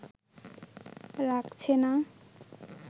রাখছে না